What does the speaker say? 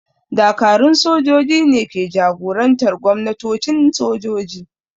Dakarun sojoji ne ke jagorantar gwamnatocin sojoji.